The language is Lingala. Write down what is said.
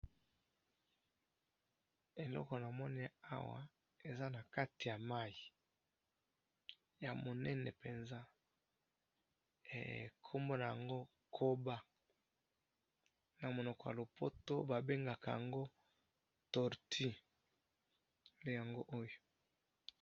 Eloko namoni Awa, eza na kati ya mayi. Ya monene penza, kombo na yango koba. Na Monoko ya lopoto Babengaka yango tortue. Yango oyo